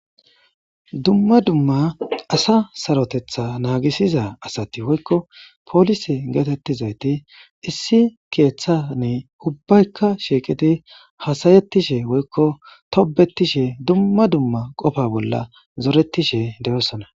dumma dumma asa sarotetha naagisiza asati woykko poolise geetettizayti issi keeththani ubbaykka shiiqiti hasayettishe woykko tobetishe dumma dumma qofa bolla zoretishe deyosona